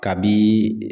Kabi